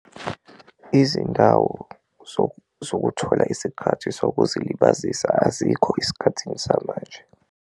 Izindawo zokuthola isikhathi sokuzilibazisa azikho esikhathini samanje.